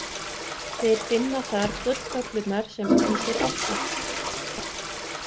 Þeir finna þar gulltöflurnar sem æsir áttu.